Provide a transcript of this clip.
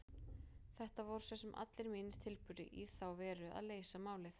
Þetta voru svo sem allir mínir tilburðir í þá veru að leysa málið.